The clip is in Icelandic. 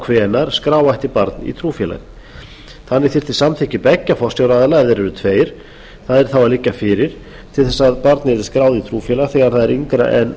hvenær skrá ætti barn í trúfélag þannig þyrfti samþykki beggja forsjáraðila ef þeir eru tveir að liggja fyrir til þess að barn yrði skráð í trúfélag þegar það er yngra en